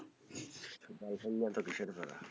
girlfriend নিয়া এত কিসের প্যারা?